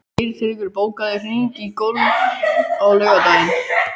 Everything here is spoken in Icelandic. Geirtryggur, bókaðu hring í golf á laugardaginn.